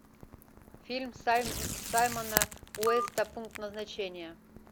фильм саймона уэста пункт назначения